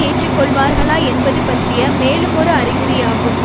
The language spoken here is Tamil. ஏற்றுக்கொள்வார்களா என்பது பற்றிய மேலுமொரு அறிகுறியாகும்